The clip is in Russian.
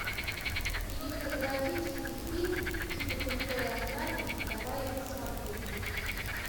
кинематографический фильм типа крутой охранник давай я посмотрю